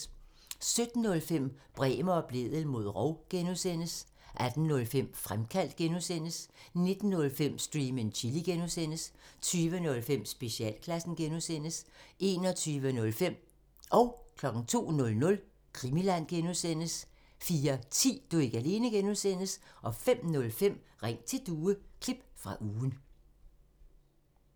17:05: Bremer og Blædel mod rov (G) 18:05: Fremkaldt (G) 19:05: Stream and Chill (G) 20:05: Specialklassen 21:05: Krimiland (G) 02:00: Krimiland (G) 04:10: Du er ikke alene (G) 05:05: Ring til Due – klip fra ugen